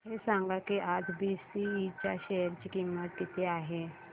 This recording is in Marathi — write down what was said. हे सांगा की आज बीएसई च्या शेअर ची किंमत किती आहे